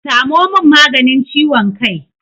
Samo min maganin ciwon kai!